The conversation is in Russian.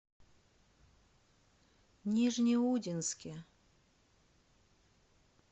нижнеудинске